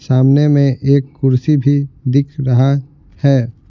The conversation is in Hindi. सामने में एक कुर्सी भी दिख रहा है।